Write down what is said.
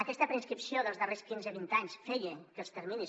aquesta preinscripció dels darrers quinze vint anys feia que els terminis